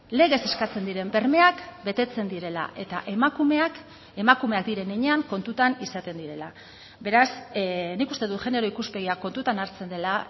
legez eskatzen diren bermeak betetzen direla eta emakumeak emakumeak diren heinean kontutan izaten direla beraz nik uste dut genero ikuspegia kontutan hartzen dela